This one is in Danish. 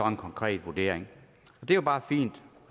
en konkret vurdering det er bare fint